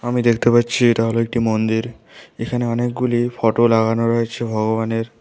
আমি দেখতে পাচ্ছি এটা হল একটি মন্দির এখানে অনেকগুলি ফটো লাগানো রয়েছে ভগবানের।